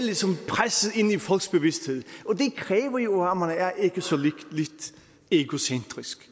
presset ind i folks bevidsthed det kræver jo at man er ikke så lidt egocentrisk